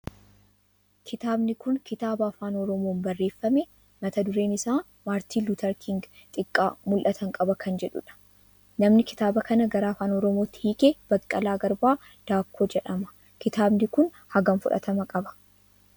Kitaabni kun kitaaba afaan oromoon barreeffame mata dureen isaa Maartiin Luuteer Kiing, Xiqqaa mul'atan qaba kan jedhudha. Namni kitaaba kana gara afaan oromootti hiike Baqqalaa Garbaa Daakkoo jedhama. Kitaabni kun hagam fudhatama qaba?